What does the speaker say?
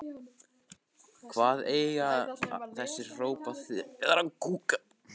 Hvað eiga þessi hróp að þýða?!